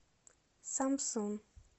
самсун